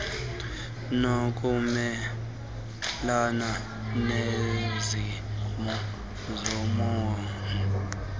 kokumelana neenzima zobomi